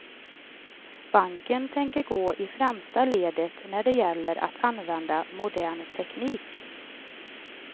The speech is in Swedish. Banken tänker gå i främsta ledet när det gäller att använda modern teknik.